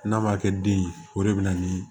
N'a ma kɛ den ye o de bɛ na ni